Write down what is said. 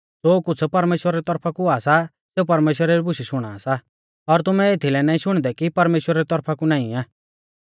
ज़ो कुछ़ परमेश्‍वरा री तौरफा कु हुआ सा सेऊ परमेश्‍वरा री बुशै शुणा सा और तुमै एथीलै नाईं शुणदै कि परमेश्‍वरा री तौरफा कु नाईं आ